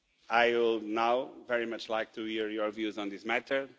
I would now very much like to hear your views on this matter.